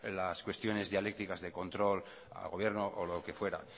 las cuestiones dialécticas de control al gobierno o lo que fuera